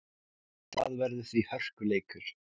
Það verður því hörkuleikur.